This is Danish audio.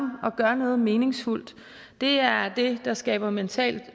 gør noget meningsfuldt det er det der skaber mental